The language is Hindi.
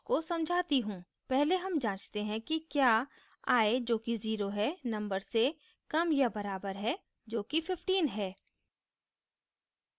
पहले हम जाँचते हैं कि क्या i जो कि 0 है number से कम या बराबर है जो कि 15 है